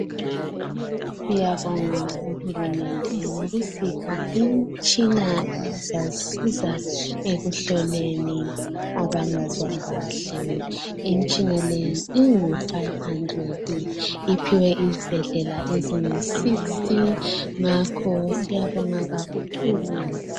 Siyabonga uhulumende ngokusipha imitshina izasisiza ekuhloleni abangezwa kahle. Imitshina leyi, ingu 500. Iphiwe izibhedlela ezingu 60. Ngakho ke, siyabonga kakhulu.